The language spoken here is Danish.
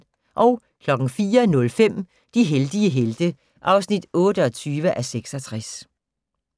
04:05: De heldige helte (28:66)